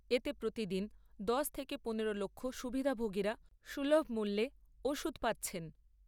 এতে প্রতিদিন দশ থেকে পনেরো লক্ষ সুবিধাভোগীরা সুলভ মূল্যে ওষুধ পাচ্ছেন।